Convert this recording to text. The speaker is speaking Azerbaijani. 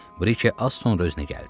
Brikey az sonra özünə gəldi.